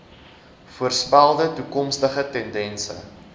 voorspelde toekomstige tendense